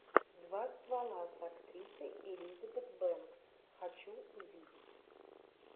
два ствола с актрисой элизабет бенкс хочу увидеть